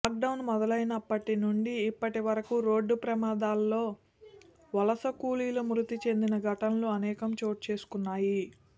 lock down మొదలైనప్పటి నుంచి ఇప్పటివరకూ రోడ్డు ప్రమాదాల్లో వలస కూలీలు మృతి చెందిన ఘటనలు అనేకం చోటు చేసుకున్నాయి